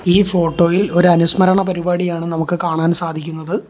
ഈ ഫോട്ടോ ഇൽ ഒരു അനുസ്മരണ പരിപാടിയാണ് നമുക്ക് കാണാൻ സാധിക്കുന്നത്.